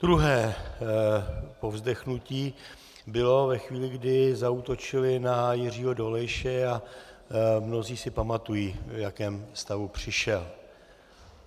Druhé povzdechnutí bylo ve chvíli, kdy zaútočili na Jiřího Dolejše, a mnozí si pamatují, v jakém stavu přišel.